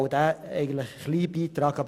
Wir lehnen auch diese Kürzung ab.